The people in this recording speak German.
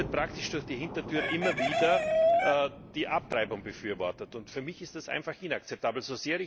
Hier wird praktisch durch die Hintertür immer wieder die Abtreibung befürwortet. Für mich ist das einfach inakzeptabel.